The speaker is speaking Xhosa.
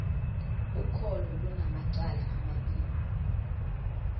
ukholo lunamacala amabini